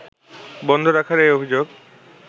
বন্ধ রাখার এই অভিযোগ